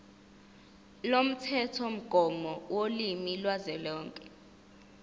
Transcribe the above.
lomthethomgomo wolimi kazwelonke